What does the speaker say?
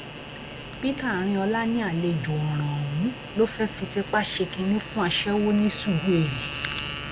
peter arinola ní àlejò ọràn ọhún ló fẹẹ fi tipa ṣe kínní fún aṣẹwó ní suruere